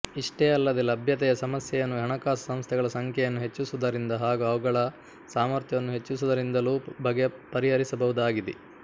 ಇಷ್ಟೇ ಅಲ್ಲದೇ ಲಭ್ಯತೆಯ ಸಮಸ್ಯೆಯನ್ನು ಹಣಕಾಸು ಸಂಸ್ಥೆಗಳ ಸಂಖ್ಯೆಯನ್ನು ಹೆಚ್ಚಿಸುವುದರಿಂದ ಹಾಗೂ ಅವುಗಳ ಸಾಮರ್ಥ್ಯವನ್ನು ಹೆಚ್ಚಿಸುವುದರಿಂದಲೂ ಪರಿಹರಿಸಬಹುದಾಗಿದೆ